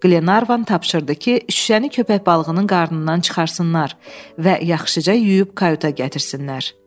Qlenarvan tapşırdı ki, şüşəni köpək balığının qarnından çıxartsınlar və yaxşıca yuyub kayuta gətirsinlər.